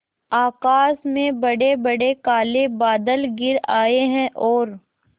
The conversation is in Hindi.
आकाश में बड़ेबड़े काले बादल घिर आए हैं और